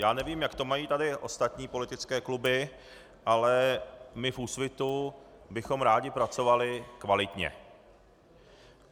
Já nevím, jak to mají tady ostatní politické kluby, ale my v Úsvitu bychom rádi pracovali kvalitně.